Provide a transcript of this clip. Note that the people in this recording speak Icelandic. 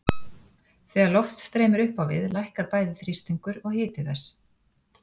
Þegar loft streymir upp á við lækkar bæði þrýstingur og hiti þess.